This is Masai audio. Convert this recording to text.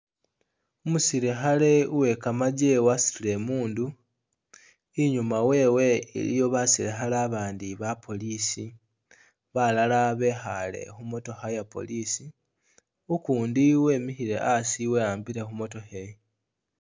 Umusilikhale uwe kamajje wasutile imundu, inyuma wewe iliyo basilikhale abandi ba police, balala bekhaale khu motookha iye police are ukundi wemikhile asi weyambile khu motookha eyi.